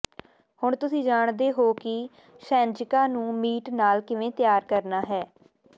ਹੁਣ ਤੁਸੀਂ ਜਾਣਦੇ ਹੋ ਕਿ ਸ਼ੈਨਜ਼ਿਕਾ ਨੂੰ ਮੀਟ ਨਾਲ ਕਿਵੇਂ ਤਿਆਰ ਕਰਨਾ ਹੈ